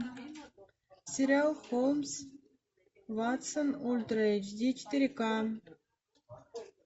сериал холмс ватсон ультра эйч ди четыре ка